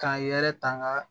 K'a yɛrɛ ta nga